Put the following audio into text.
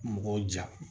Mɔgɔw ja